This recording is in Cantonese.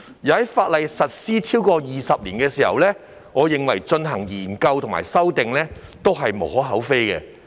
而在《條例》實施超過20年後對其進行研究及修訂，我認為也是無可厚非的。